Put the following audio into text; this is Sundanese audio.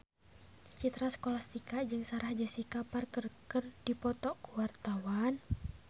Citra Scholastika jeung Sarah Jessica Parker keur dipoto ku wartawan